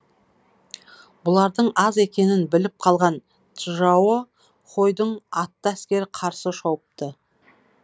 бұлардың аз екенін біліп қалған чжао хойдың атты әскері қарсы шауыпты